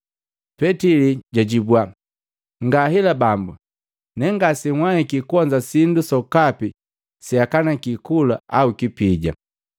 Petili jwajibwa, “Ngahela Bambu, nengase nhwaiki kuonza sindu sokapi seakaniki kula au kipija.”